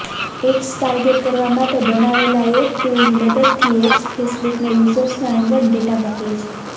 ads target કરવા માટે બનાવેલા એક ટૂલની મદદથી એપ્સ ફેસબુકને યૂઝર્સના અંગત ડેટા મોકલે છે